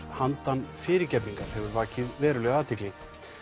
handan fyrirgefningar hefur vakið verulega athygli